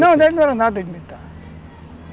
Não, ele não era nada de militar.